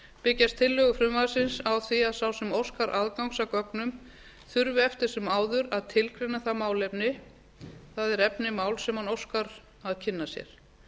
byggjast tillögur frumvarpsins á því að sá sem óskar aðgangs að gögnum þurfi eftir sem áður að tilgreina það málefni það er efni máls sem hann óskar að kynna sér